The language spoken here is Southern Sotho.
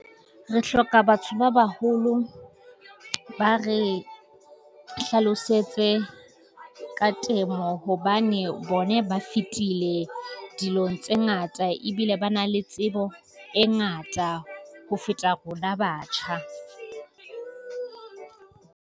Re hloka batho ba baholo, ba re hlalosetse ka temo hobane bona ba fetile dilong tse ngata ebile ba na le tsebo e ngata ho feta rona batjha.